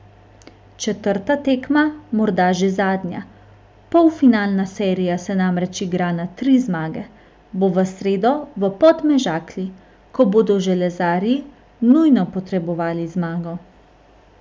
Četrta tekma, morda že zadnja, polfinalna serija se namreč igra na tri zmage, bo v sredo v Podmežakli, ko bodo železarji nujno potrebovali zmago.